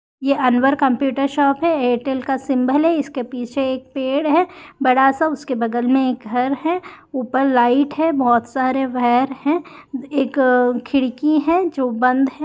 यह Anwar computer shop है Airtel का सिम्बोल है इसके पीछे एक पेड़ है बड़ा सा उसके बग़ल में एक घर है ऊपर लाइट हैं बहुत सारे वायर हैं एक खिड़की है जो बंध है।